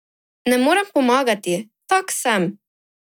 Ne morem pomagati, tak sem!